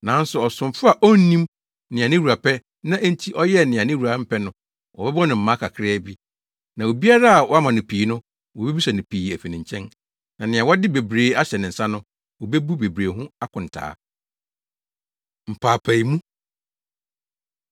Na ɔsomfo a onnim nea ne wura pɛ na enti ɔyɛɛ nea ne wura mpɛ no, wɔbɛbɔ no mmaa kakraa bi. Na obiara a wɔama no pii no, wobebisa pii afi ne nkyɛn; na nea wɔde bebree ahyɛ ne nsa no, obebu bebree ho akontaa.” Mpaapaemu